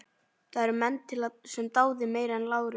Það eru til menn sem dá þig meira en Lárus.